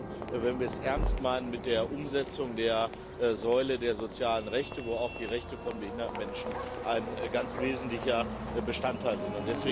Vor allen Dingen, wenn wir es ernst meinen mit der Umsetzung der Säule der sozialen Rechte, wo auch die Rechte von behinderten Menschen ein ganz wesentlicher Bestandteil sind.